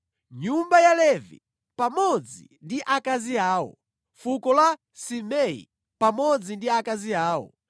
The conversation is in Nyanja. nyumba ya Levi pamodzi ndi akazi awo, fuko la Simei pamodzi ndi akazi awo,